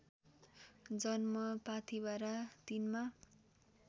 जन्म पाथीभरा ३मा